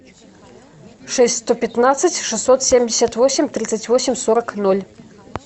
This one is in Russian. шесть сто пятнадцать шестьсот семьдесят восемь тридцать восемь сорок ноль